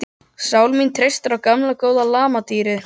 Sál mín treystir á gamla góða lamadýrið.